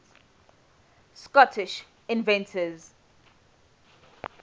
scottish inventors